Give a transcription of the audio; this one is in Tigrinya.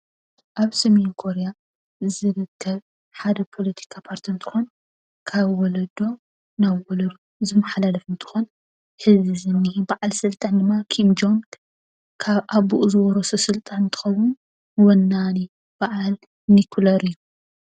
ኣብ ሰሜን ኮርያ ዝርከብ ሓደ ፖለቲካ ፓርቲ እንትኮን ካብ ወለዶ ናብ ወለዶ ዝመሓላለፍ እንትኮን ሕዚ ዝኒሀ በዓል ስልጣን ድማ ኪንግጆን ካብ ኣቡኡ ዝወረሶ እንትከውን ወናኒ በዓል ኒኩሌር እዩ፡፡